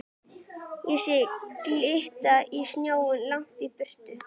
Ég sé glitta í sjóinn lengst í burtu.